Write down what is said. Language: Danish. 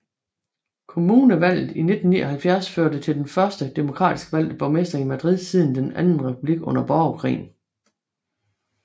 Kommunalvalget i 1979 førte til den første demokratisk valgte borgmester i Madrid siden den anden republik under borgerkrigen